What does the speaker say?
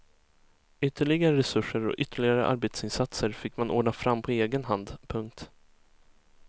Ytterligare resurser och ytterligare arbetsinsatser fick man ordna fram på egen hand. punkt